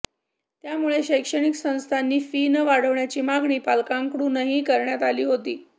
त्यामुळे शैक्षणिक संस्थांनी फी न वाढवण्याची मागणी पालकांकडूनही करण्यात आली होती